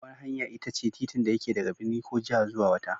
Babbar hanya itace titin da yake daga birni ko jiha zuwa wata.